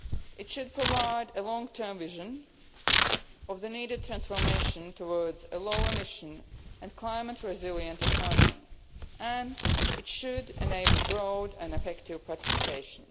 It should provide a long term vision of the need for transformation towards a lower emission and climate resilient economy and it should enable broad and effective participation.